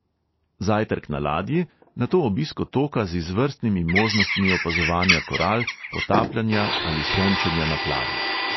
Zajtrk na ladji, nato obisk otoka z izvrstnimi možnostmi opazovanja koral, potapljanja ali sončenja na plaži.